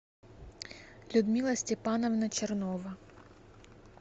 людмила степановна чернова